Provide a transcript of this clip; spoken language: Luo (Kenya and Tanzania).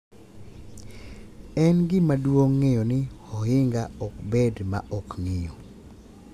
En gima duong’ ng’eyo ni ohinga ok bed ma ok ng’iyo;